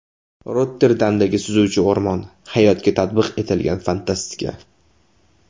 Rotterdamdagi suzuvchi o‘rmon: hayotga tatbiq etilgan fantastika.